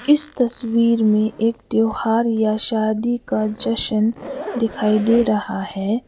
इस तस्वीर में एक त्यौहार या शादी का जशन दिखाई दे रहा है।